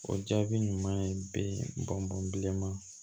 O jaabi ɲuman ye bɛ bɔn bɔn bilenma